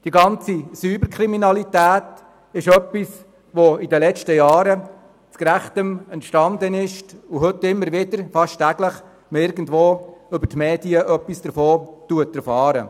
Erst in den letzten Jahren ist die Cyber-Kriminalität richtig entstanden, von der man heute immer wieder und fast täglich etwas aus den Medien erfährt.